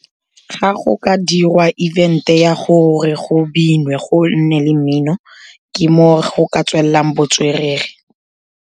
Ga go ka dirwa event-e ya gore go binwe, go nne le mmino, ke moo go ka tswelelang botswerere.